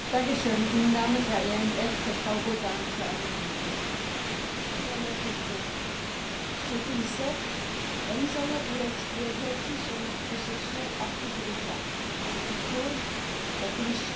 Madame la Présidente, Monsieur le Commissaire, la mise en œuvre de la directive sur l'écoconception a pris du retard, et pour cause, la Commission a très peu ou mal accompagné les États membres pour répondre à ces exigences.